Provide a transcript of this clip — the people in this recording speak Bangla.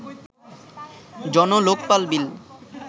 জন-লোকপাল বিল